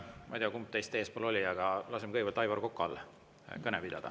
Ma ei tea, kumb teist eespool oli, aga lasen kõigepealt Aivar Kokal kõne pidada.